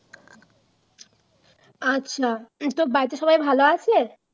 আচ্ছা তোর বাড়িতে সবাই ভালো আছে